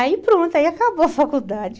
Aí pronto, aí acabou a faculdade.